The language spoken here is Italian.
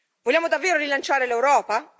Vogliamo davvero rilanciare l'Europa?